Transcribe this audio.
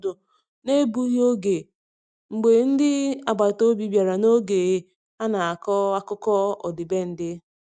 Anyị mere ndokwa ịnọdi ọdụ n'egbughị oge mgbe ndị agbata obi bịara n'oge a na-akọ akụkọ ọdịbendị.